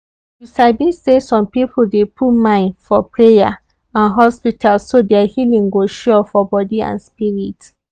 you sabi say some people dey put mine for prayer and hospitalso their healing go sure for body and spirit.